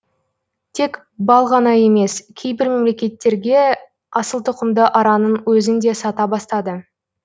тек бал ғана емес кейбір мемлекеттерге асылтұқымды араның өзін де сата бастады